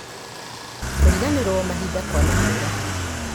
kũriganĩrwo mahinda kwa mahinda